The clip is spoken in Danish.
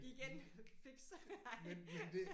Igen fix. Ej